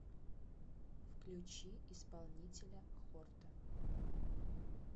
включи исполнителя хорта